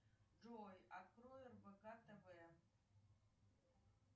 джой открой рбк тв